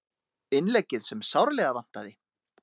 Innleggið sem sárlega vantaði